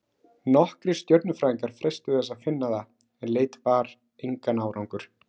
Nokkrir stjörnufræðingar freistuðu þess að finna það, en leit bar engan árangur.